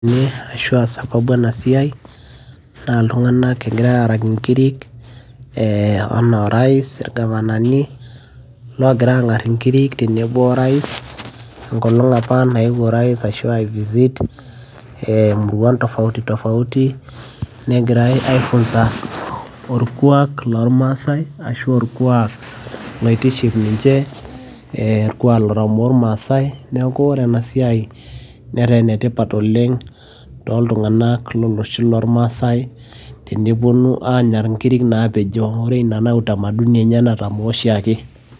iyie aashu aasababu ena siai, naa iltunganak egirae aaraki nkirik ee anaa orais ilgavanani, loogira aang'ar inkiri tenebo orais, enkolong' apa nayewuo orais ashu ae visit imuruan tofauti tofauti negirae aifunsa orkuaak loormasae ashu aa orkuaak loitiship ninche aashu aa orkuaak lotamoo irmaasae. neeku ore ene siai netaa ene tipat oleng. tooltunganak lolosho loormaasae tenepuonu aaanya nkirik naapejo. ore ina naa utamaduni enye natomoo oshiake.